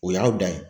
O y'aw dan ye